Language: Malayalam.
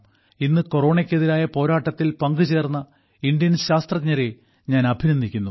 ഇന്ന് കൊറോണയ്ക്കെതിരായ പോരാട്ടത്തിൽ പങ്കുചേർന്ന ഇന്ത്യൻ ശാസ്ത്രജ്ഞരെ ഞാൻ അഭിനന്ദിക്കുന്നു